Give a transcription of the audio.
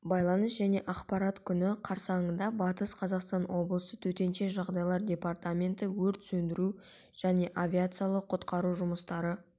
байланыс және ақпарат күні қарсаңында батыс қазақстан облысы төтенше жағдайлар департаменті өрт сөндіру және авариялық-құтқару жұмыстары